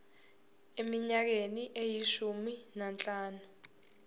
eminyakeni eyishumi nanhlanu